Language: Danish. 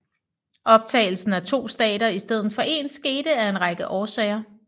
Optagelsen af to stater i stedet for én skete af en række årsager